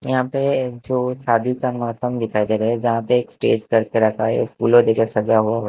यहां पे जो शादी का मौसम दिखाई दे रहा है जहां पे एक स्टेज करके रखा हैएक फूलों जैसा सजा हु --